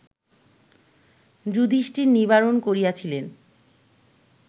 যুধিষ্ঠির নিবারণ করিয়াছিলেন